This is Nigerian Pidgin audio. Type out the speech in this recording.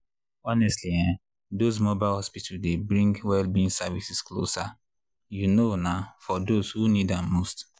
honestly ehndoz mobile hospital dey bring well-being services closer you know na for those who need am most.